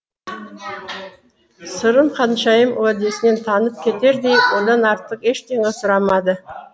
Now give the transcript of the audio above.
сырым ханшайым уәдесінен танып кетердей одан артық ештеңе сұрамады